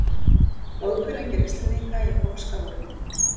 Góðkunningjar Íslendinga í pólska hópnum